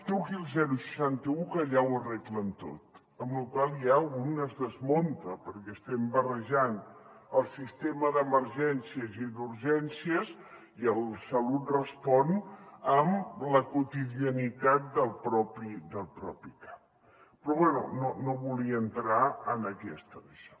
truqui al seixanta un que allà ho arreglen tot amb lo qual ja un es desmunta perquè estem barrejant el sistema d’emergències i d’urgències i el salut respon amb la quotidianitat del propi cap però bé no volia entrar en aquesta daixò